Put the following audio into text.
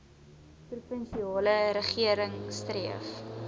provinsiale regering streef